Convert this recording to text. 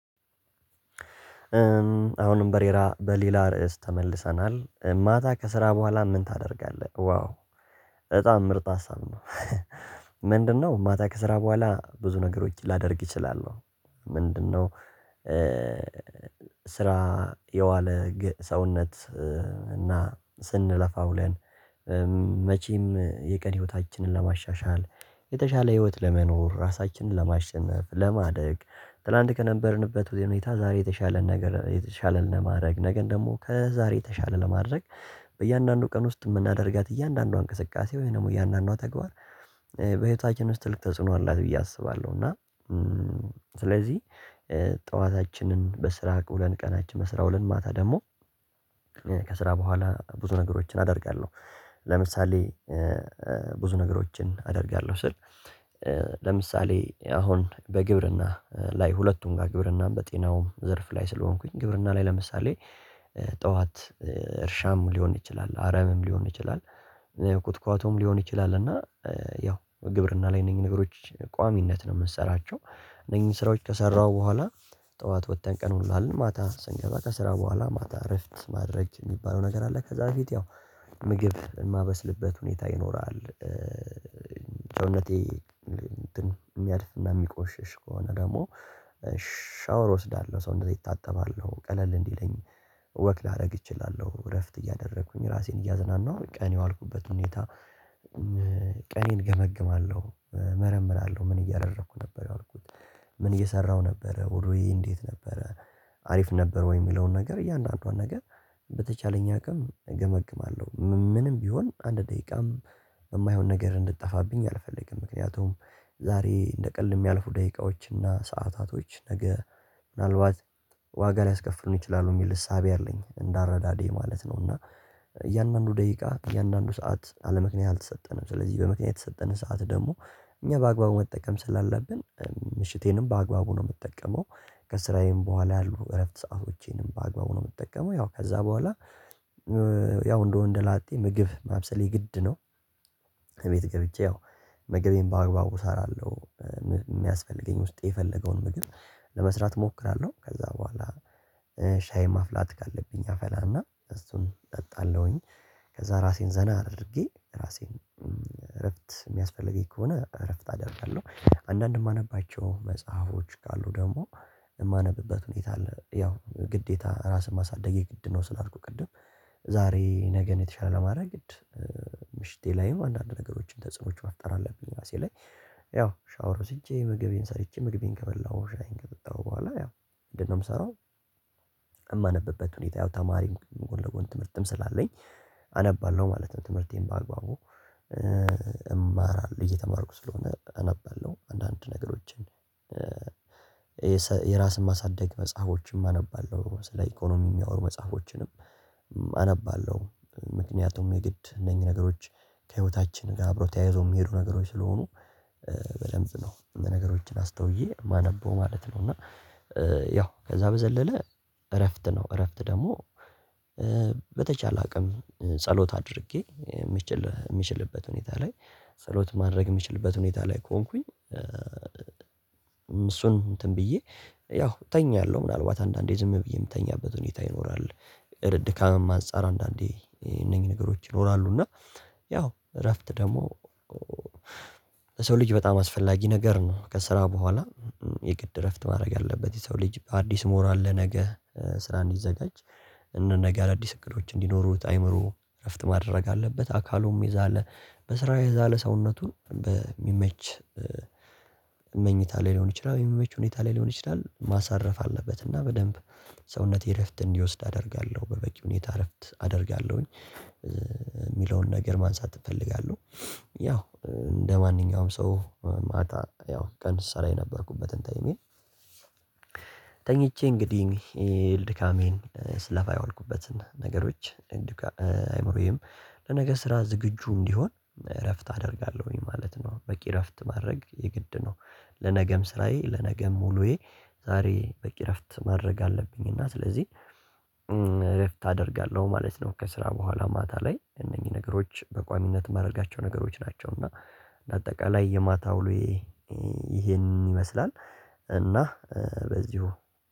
አሁንም በሌላ ርዕስ ተመልሰናል ማታ ከስራ ቡሃላ ምን ታደርጋለህ? ዋው በጣም ምርጥ ሀሳብ ነው። ምንድነው ማታ ከስራ ቡሃላ ብዙ ነገሮች ላደርግ ይችላል። ምንድነው? ስራ የዋለ ሰውነት እና ስንለፋው ውለን። መቼም የቀሪ ህይወታችንን ለማሻሻል የተሻለ ህይወት ለመኖር ራሳችንን ለማሸነፍ ለማደግ ትላንት ከነበርንበት ሁኔታ ዛሬ የተሻለ ነገር የተሻለ ለማድረግ ነገን ደሞ ከዛሬ የተሻለ ለማድረግ በእያንዳንዱ ቀን ውስጥ እምናደርጋት እያንዳንዷ እንቅስቃሴ ወይ ደሞ እያንዳንዷ ተግባር። በህይወታችን ውስጥ ትልቅ ተጽዕኖ አላት ብዬ አስባለሁ እና። ስለዚህ ጧታችንን በስራ ውለን ቀናችን በመስራ ውለን ማታ ደሞ ቡሃላ ብዙ ነገሮችን አደርጋለሁ። ለምሳሌ ብዙ ነገሮችን አደርጋለሁ ስል ለምሳሌ አሁን በግብርና ላይ ሁለቱም ጋ ግብርናም በጤናውም ዘርፍ ላይ ስለሆንኩኝ ግብርና ላይ ለምሳሌ ጥዋት እርሻም ሊሆን ይችላል አረምም ሊሆን ይችላል። ኩትኳቶም ሊሆን ይችላል እና ያው ግብርና ላይ እነኚህ ነገሮች ቋሚነት ነው እምንሰራቸው። እነኚህ ስራዎች ከሰራሁ በኋላ ጥዋት ወጥተን ቀኑን እንውላለን ማታ ስንገዛ ከስራ ቡሃላ ማታ እረፍት ማድረግ እሚባለው ነገር አለ ከዛ በፊት ያው ምግብ እማበስልበት ሁኔታ ይኖራል። ሰውነቴ እሚያድፍ እና እሚቆሽሽ ከሆነ ደግሞ ሻወር እወስዳለሁ ሰውቴን እታጠባለሁ ቀለል እንዲለኝ ወክ ላደርግ እችላለሁ እረፍት እያደረኩኝ ራሴን እያዝናናሁ ቀን የዋልኩበት ሁኔታ። ቀኔን እገመግማለሁ እመረምራለሁ ምን እያደረኩ ነበረ የዋልኩት? ምን እየሰራሁ ነበረ ውሎየ እንዴት ነበረ? አሪፍ ነበረ ወይ እሚለውን ነገር እያንዳንዷን ነገር። አቅም እገመግማለሁ ምንም ቢሆን አንድ ደቂቃም እማይሆን ነገር እንድትጠፋብኝ አልፈልግም። ምክንያቱም ዛሬ እንደ ቀልድ እሚያልፉ ደቂቃዎች እና ሰዓታቶች ነገ ምናልባት ዋጋ ሊያስከፍሉን ይችላሉ እሚል እሳቤ አለኝ እንደ አረዳዴ ማለት ነው። እና እያንዳንዱ ደቂቃ እያንዳንዱ ሰዓት አለመክንያ አልተሰጠንም ስለዚህ በምክንያት የተሰጠንን ሰዓት ደግሞ እኛ በአግባቡ መጠቀም ስላለብን ምሽቴንም በአግባቡ ነው እምጠቀመው። ከእስራየም ቡሃላ ያሉ እረፍት ሰአቶቼንም በአግባቡ ነው እምጠቀመው ያው ከዛ በኋላ ያው እንደወንደላጤ ምግብ ማብሰሌ ግድ ነው። እቤት ገብቼ ያው ምግቤን በአግባቡ እሰራለሁ። እሚያስፈልገኝ ውስጤ የፈለገውን ምግብ ለመስራት እሞክራለሁ ከዛ በኋላ ሻይ ማፍላት ካለብኝ አፈላና እሱን እጠጣለሁኝ። ከዛ ራሴን ዘና አድርጌ ራሴን እረፍት እሚያስፈልገኝ ከሆነ እረፍት አደርጋለሁ። አንዳንድ እማነባቸው መጽሐፎች ካሉ ደሞ የእማነብበት ሁኔታ አለ ያው ግዴታ ራስን ማሳደግ የግድ ነው ስላልኩ ቅድም። ዛሬ ነገ ነው የተሻለ ለማድረግ ግድ ምሽቴ ላይም አንዳንድ ነገሮችን ተጽዕኖዎች መፍጠር አለብኝ ራሴ ላይ። ያው ሻወር ወስጄ ምግቤን ሰርቼ መግቤን ከመላው ሻየን ከጠጣሁ ቡሃላ ያው ምንድን ነው እምሰራው? እማነበበት ሁኔታ ያው ተማሪም ጎን ለጎን ትምህርትም ስላለኝ አነባለሁ ማለት ነው። ትምህርቴን በአግባቡ እየተማርኩ ስለሆነ አነባለሁ አንዳንድ ነገሮችን። የራስን ማሳደግ መጽሐፎችን አነባለሁ ስለ ኢኮኖሚ እሚያወሩ መጽሐፎችንም አነባለሁ። ምክንያቱም የግድ እነኚህ ነገሮች ከህይወታችን ጋር አብሮ ተያይዘው እሚሄዱ ነገሮች ስለሆኑ። በደንብ ነው ነገሮችን አስተውዬ እማነበው ማለት ነው። እና ያው ከዛ በዘለለ እረፍት ነው እረፍት ደግሞ በተቻለ አቅም ጸሎት አድርጌ እምችልበት ሁኔታ ላይ ጸሎት ማድረግ እምችልበት ሁኔታ ላይ ከሆንኩኝ። እሱን እንትን ብዬ ያው እተኛለሁ ምናልባት አንዳንዴ ዝም ብዬ እምተኛበት ሁኔታ ይኖራል። ድካምም አንፃር አንዳንዴ እነኚህ ነገሮች ይኖራሉ እና ያው እረፍት ደግሞ ለሰው ልጅ በጣም አስፈላጊ ነገር ነው። ከስራ በኋላ የግድ እረፍት ማድረግ ያለበት የሰው ልጅ በአዲስ ሞራል ለነገ ስራ እንዲዘጋጅ። እነ ነገ አዲስ እቅዶች እንዲኖሩት አይምሮ እረፍት ማድረግ አለበት። አካሉም የዛለ በስራ የዛለ ሰውነቱን በሚመች መኝታ ላይ ሊሆን ይችላል የሚመች ሁኔታ ላይ ሊሆን ይችላል ማሳረፍ አለበት። እና በደንብ ሰውነቴ እረፍት እንዲወስድ አደርጋለሁ በበቂ ሁኔታ እረፍት አደርጋለሁኝ። ነገር ማንሳት እፈልጋለሁ። ያው እንደማንኛውም ሰው ማታ ያው ቀን ስሰራ የነበርኩበትን ታይሜን ተኝቼ እንግዲህ ድካሜን ስለፋይ ያወልኩበትን ነገሮች። አይምሮዬም ለነገ ስራ ዝግጁ እንዲሆን እረፍት አደርጋለሁኝ ማለት ነው። በቂ እረፍት ማድረግ የግድ ነው። ለነገም ስራዬ ለነገም ሙሉዬ ዛሬ በቂ እረፍት ማድረግ አለብኝና ስለዚህ እረፍት አደርጋለሁ ማለት ነው። ከስራ በኋላ ማታ ላይ እነኚህ ነገሮች በቋሚነት እማደረጋቸው ነገሮች ናቸው። እና ለአጠቃላይ የማታ ውሎዬ ይሄን ይመስላል። እና በዚሁ